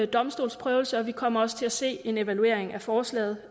domstolsprøvelse og vi kommer også til at se en evaluering af forslaget